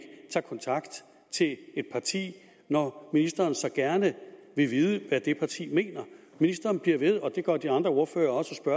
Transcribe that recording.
tager kontakt til et parti når ministeren så gerne vil vide hvad det parti mener ministeren bliver ved med og det gør de andre ordførere også at